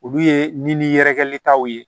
Olu ye nin ni yɛrɛkɛlitaw ye